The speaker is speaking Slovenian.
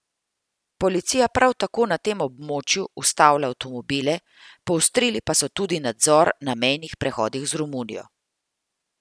Policija prav tako na tem območju ustavlja avtomobile, poostrili pa so tudi nadzor na mejnih prehodih z Romunijo.